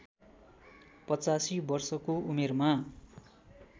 पचासी वर्षको उमेरमा